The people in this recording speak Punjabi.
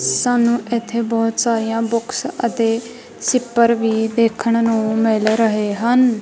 ਸਾਨੂੰ ਇੱਥੇ ਬਹੁਤ ਸਾਰੀਆਂ ਬੁੱਕਸ ਅਤੇ ਸਿੱਪਰ ਵੀ ਦੇਖਣ ਨੂੰ ਮਿਲ ਰਹੇ ਹਨ।